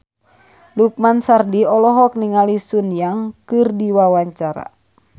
Lukman Sardi olohok ningali Sun Yang keur diwawancara